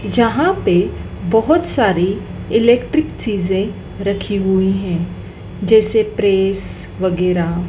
जहांपे बहोत सारी इलेक्ट्रिक चीजे रखी हुई है जैसे प्रेस वगैरा--